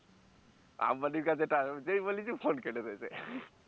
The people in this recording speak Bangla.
আম্বানির কাছে ঐটা যেই বলেছি phone কেটে দিয়েছে